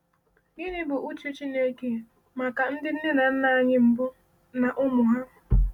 Gịnị bụ uche Chineke maka ndị nne na nna anyị mbụ na ụmụ ha?